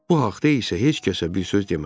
Bu haqda isə heç kəsə bir söz demədi.